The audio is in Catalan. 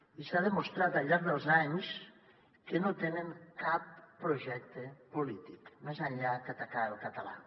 i s’ha demostrat al llarg dels anys que no tenen cap projecte polític més enllà que atacar el català